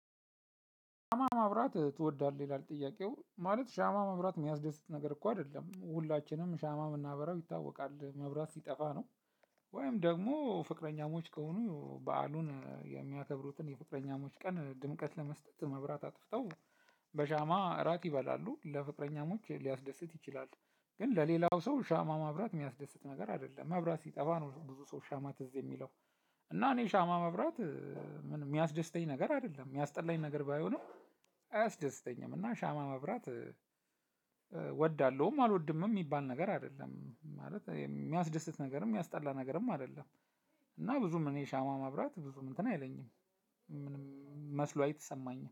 ሻማ ማብራት ትወዳለህ? ይላል ጥያቄው። ማለት ሻማ ማብራት የሚያስደስት ነገር እኮ አይደለ። ም ሁላችንም ሻማ የምናበራው ይታወቃል መብራት ሲጠፋ ነው። ወይም ደግሞ ፍቅረኛሞች ከሆኑ በዓሉን የሚያከብሩትን የፍቅረኛሞች ቀን ድምቀት ለመስጠት መብራት አጥፍተው- በሻማ እራት ይበላሉ። ለፍቅረኛሞች ሊያስደስት ይችላል። ግን ለሌላው ሰው ሻማ ማብራት የሚያስደስት ነገር አይደለም መብራት ሲጠፋ ነው ብዙ ሰው ሻማ ትዝ የሚለው። እና እኔ ሻማ ማብራት- የሚያስደስተኝ ነገር አይደለም። የሚያስጠላኝ ነገር ባይሆንም አያስደስተኝም። እና ሻማ ማብራት እወዳለሁም አልወድምም የሚባል ነገር አይደለም። ማለት የሚያስደስት ነገርም የሚያስጠላ ነገርም አይደለም። እና ብዙም እኔ ሻማ ማብራት ብዙም እንትን አይለኝም። ምንም መስሎ አይሰማኝም።